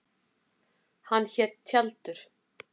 Hann hét Tjaldur.